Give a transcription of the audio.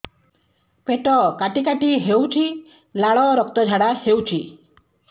ପେଟ କାଟି କାଟି ହେଉଛି ଲାଳ ରକ୍ତ ଝାଡା ହେଉଛି